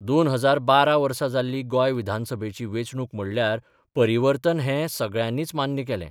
2012 वर्सा जाल्ली गोंय विधानसभेची वेंचणूक म्हणल्यार परिवर्तन हें सगळ्यांनीच मान्य केलें.